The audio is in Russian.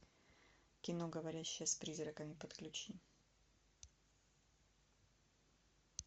кино говорящая с призраками подключи